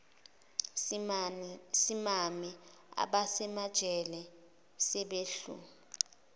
simame abasemajele sebehlu